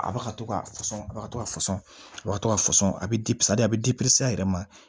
A ba ka to ka fɔsɔn a ka to ka fɔsɔn a ka to ka fɔsɔn a bɛ a bɛ a yɛrɛ ma